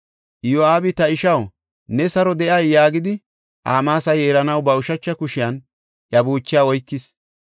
Iyo7aabi, “Ta ishaw, ne saro de7ay?” yaagidi, Amaasa yeeranaw ba ushacha kushiyan iya buuchaa oykis.